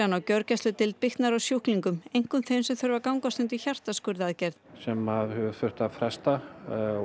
á gjörgæsludeild bitnar á sjúklingum einkum þeim sem þurfa að gangast undir hjartaskurðaðgerð sem hefur þurft að fresta